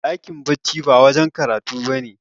dakin bacci ba wajen karatu ba ne